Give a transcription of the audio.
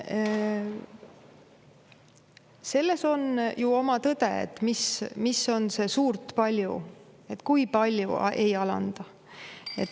Selles on ju oma tõde – mis on see "suurt ", kui palju siis ei alanda?